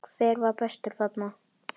Hver var bestur þarna?